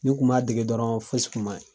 Ni n kun m'a dege dɔrɔɔn fosi kun ma y